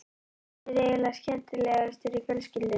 Hann er eiginlega skemmtilegastur í fjölskyldunni.